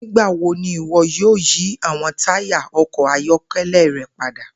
Nigbawo ni iwọ yoo yi awọn taya ọkọ ayọkẹlẹ rẹ pada?